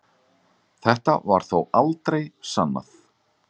Þetta var þó aldrei sannað